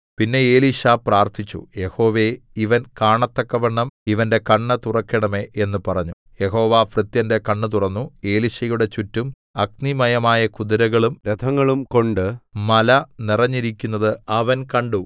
പിന്നെ എലീശാ പ്രാർത്ഥിച്ചു യഹോവേ ഇവൻ കാണത്തക്കവണ്ണം ഇവന്റെ കണ്ണ് തുറക്കണമേ എന്ന് പറഞ്ഞു യഹോവ ഭൃത്യന്റെ കണ്ണ് തുറന്നു എലീശയുടെ ചുറ്റും അഗ്നിമയമായ കുതിരകളും രഥങ്ങളും കൊണ്ട് മല നിറഞ്ഞിരിക്കുന്നത് അവൻ കണ്ടു